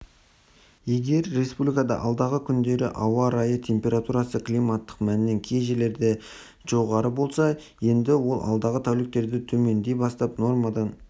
егер республикада алдағы күндері ауа райы температурасы климаттық мәннен кей жерлерде жерде жоғары болса енді ол алдағы тәуліктерде төмендей бастап нормадан